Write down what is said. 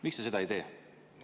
Miks te seda ei tee?